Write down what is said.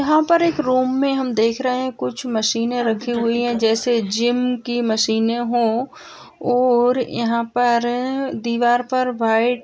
यहाँ पे एक रूम में हम देख रहे हैं कुछ मशीनें रखी हुई है जैसे जिम की मशीनें हों और यहाँ पर दीवार पर वाइट --